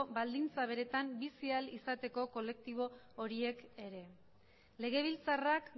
baldintza beretan bizi ahal izateko kolektibo horiek ere legebiltzarrak